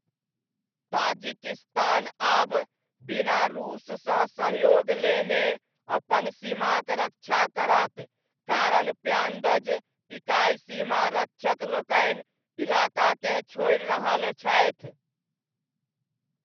Tajikistan आब बिना रूससँ सहयोग लेने अपन सीमाक रक्षा करत, कारण प्यान्दज इकाइ सीमा रक्षक लोकनि इलाकाकेँ छोड़ि रहल छथि।